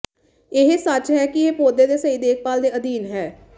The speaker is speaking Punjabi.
ਇਹ ਸੱਚ ਹੈ ਕਿ ਇਹ ਪੌਦੇ ਦੀ ਸਹੀ ਦੇਖਭਾਲ ਦੇ ਅਧੀਨ ਹੈ